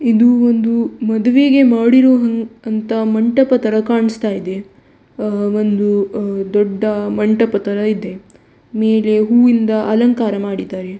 ಇದು ಒಂದು ಮದುವೆಗೆ ಮಾಡಿರುವಂತ ಮಂಟಪ ತರ ಕಾಣಿಸ್ತ ಇದೆ ಒಂದು ದೊಡ್ಡ ಮಂಟಪ ತರ ಇದೆ ಮೇಲೆ ಹೂವಿಂದ ಅಲಂಕಾರ ಮಾಡಿದ್ದಾರೆ .